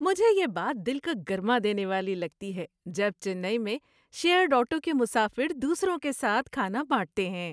مجھے یہ بات دل کو گرما دینے والی لگتی ہے جب چنئی میں شیرڈ آٹو کے مسافر دوسروں کے ساتھ کھانا بانٹتے ہیں۔